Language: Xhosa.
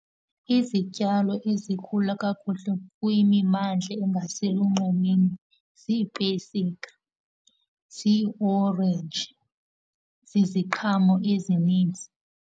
Izityalo ezikhula kakuhle kwimimmandla engaselunxwemeni ziipesika, ziiorenji, ziziqhamo ezininzi.